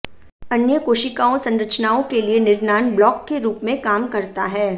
अन्य कोशिकाओं संरचनाओं के लिए निर्णाण ब्लॉक के रुप में काम करता है